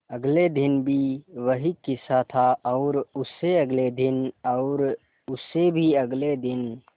अगले दिन भी वही किस्सा था और उससे अगले दिन और उससे भी अगले दिन